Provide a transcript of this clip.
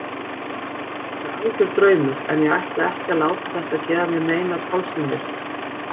Þetta er algjör draumur en ég ætla ekki að láta þetta gefa mér neinar tálsýnir.